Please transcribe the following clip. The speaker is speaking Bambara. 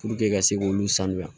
ka se k'olu sanuya